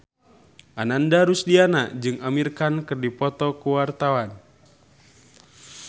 Ananda Rusdiana jeung Amir Khan keur dipoto ku wartawan